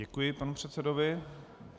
Děkuji panu předsedovi.